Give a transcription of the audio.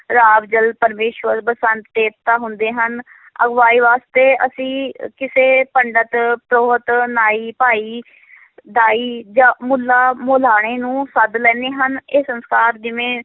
ਜਲ ਪਰਮੇਸਰ ਬਸੰਤ ਦੇਵਤਾ ਹੁੰਦੇ ਹਨ ਅਗਵਾਈ ਵਾਸਤੇ ਅਸੀਂ ਕਿਸੇ ਪੰਡਤ, ਪ੍ਰੋਹਤ, ਨਾਈ, ਭਾਈ ਦਾਈ ਜਾਂ ਮੁੱਲਾਂ ਮੁਲਾਣੇ ਨੂੰ ਸੱਦ ਲੈਂਦੇ ਹਾਂ, ਇਹ ਸੰਸਕਾਰ ਜਿਵੇਂ